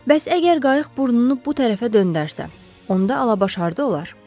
Bəs əgər qayıq burnunu bu tərəfə döndərsə, onda Alabaşa harda olar?